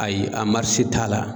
Ayi a t'a la.